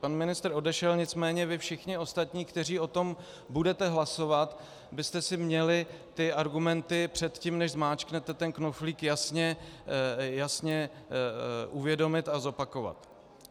Pan ministr odešel, nicméně vy všichni ostatní, kteří o tom budete hlasovat, byste si měli ty argumenty před tím než zmáčknete ten knoflík, jasně uvědomit a zopakovat.